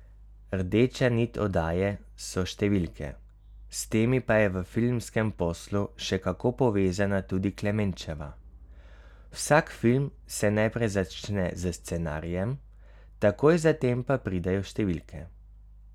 Rdeča nit oddaje so številke, s temi pa je v filmskem poslu še kako povezana tudi Klemenčeva: 'Vsak film se najprej začne s scenarijem, takoj zatem pa pridejo številke.